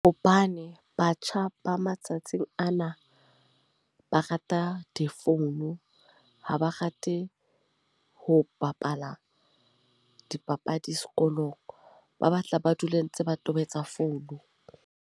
Hobane batjha ba matsatsing ana, ba rata difounu. Ha ba rate ho bapala dipapadi sekolong. Ba batla ba dule ntse ba tobetsa phone.